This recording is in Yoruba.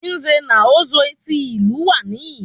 Nze na Ozo tí ìlú wa níyì